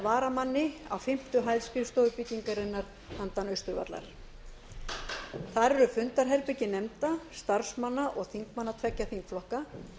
varamanni á fimmtu hæð skrifstofubyggingarinnar handan austurvallar þar eru fundaherbergi nefnda starfsmanna og þingmanna tveggja þingflokka